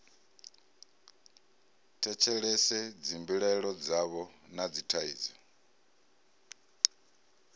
tshetshelese dzimbilaelo dzavho na dzithaidzo